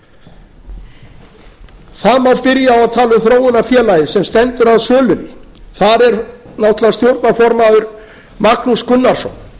það má spyrja og tala um þróunarfélagið sem stendur að sölunni þar er náttúrlega stjórnarformaður magnús gunnarsson